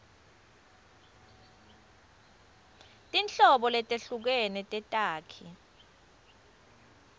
tinhlobo letehlukene tetakhi